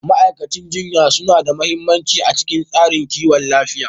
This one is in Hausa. Ma'aikatan jinya suna da mahimmanci a cikin tsarin kiwon lafiya.